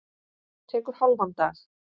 Tekur hálfan dag.